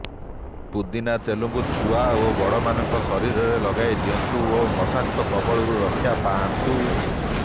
ପୁଦିନା ତେଲକୁ ଛୁଆ ଓ ବଡ଼ମାନଙ୍କ ଶରୀରରେ ଲଗାଇ ଦିଅନ୍ତୁ ଓ ମଶାଙ୍କ କବଳରୁ ରକ୍ଷା ପାଆନ୍ତୁ